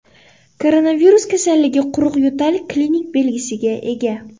Koronavirus kasalligi quruq yo‘tal klinik belgisiga ega.